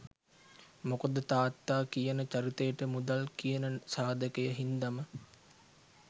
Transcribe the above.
මොකද තාත්තා කියන චරිතයට මුදල් කියන සාධකය හින්දම